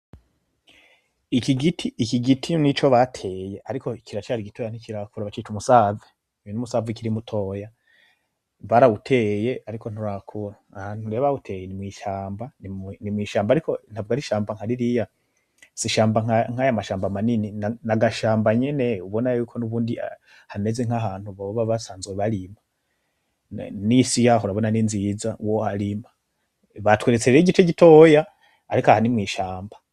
Iki gitio nico bateye, ariko ikiracari igitoya ntikirakura abacica umusave ibi n'umusava ikirimutoya bariawuteye, ariko nturakura ahantu riya bawuteye mwsamba ni mwishambo ari ko ntavwa ari ishamba nkaririya si ishamba nk'aya mashambo manini ni agashamba nyene ubona yuko niubundi hameze nk'ahantu baboba basanzwe barima n'isi iyahurabona ninziza wo arima batweretserere igice gitoya, ariko ahani mwishamba.